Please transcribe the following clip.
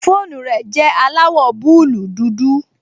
Fóònù rẹ̀ jẹ́ aláwọ̀ búúlù dúdú